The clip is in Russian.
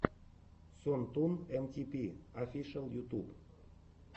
сон тун эм ти пи офишиал ютуб